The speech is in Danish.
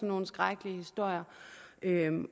nogle skrækkelige historie